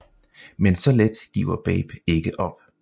Men så let giver Babe ikke op